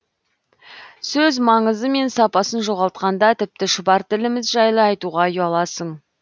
сөз маңызы мен сапасын жоғалтқанда тіпті шұбар тіліміз жайлы айтуға ұяласың